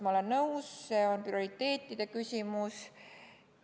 Ma olen nõus, see on prioriteetide küsimus.